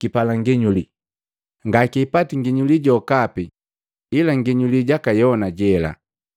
kipala nginyuli. Ngakipati nginyuli jokapi ila nginyuli jaka Yona jela.